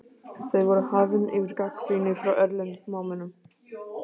Þau voru hafin yfir gagnrýni frá erlendum smámennum.